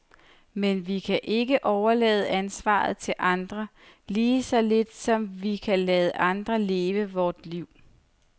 Men vi kan ikke overlade ansvaret til andre, lige så lidt som vi kan lade andre leve vort liv.